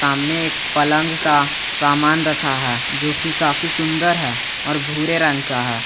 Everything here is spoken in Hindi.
सामने एक पलंग का सामान रखा है जो की काफी सुंदर है और भूरे रंग का है।